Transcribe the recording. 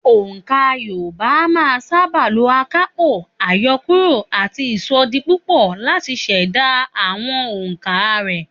Ònkà Yorùbá a máa sábà lo àkàpọ̀, àyọkúrò àti ìsọdipúpọ̀ láti ṣẹ̀dá àwọn òǹkà rẹ̀